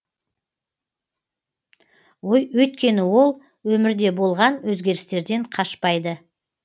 өйткені ол өмірде болған өзгерістерден қашпайды